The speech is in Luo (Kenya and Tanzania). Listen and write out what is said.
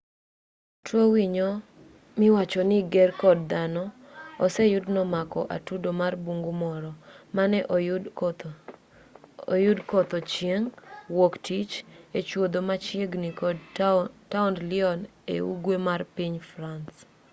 tuo winy miwacho ni ger kod dhano oseyud ni nomako atudo marbungu moro mane oyud kotho chieng' wuok tich echuodho machiegini kod taond lyon e ugwe mar piny france